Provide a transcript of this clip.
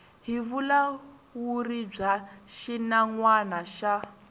hi vulawuri bya xinawana xa